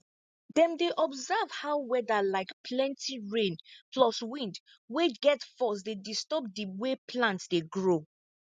dem dey observe how weather like plenti rain plus wind wey get force dey disturb di way plant dey grow